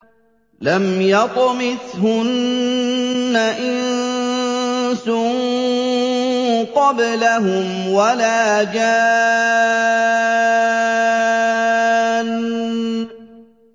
لَمْ يَطْمِثْهُنَّ إِنسٌ قَبْلَهُمْ وَلَا جَانٌّ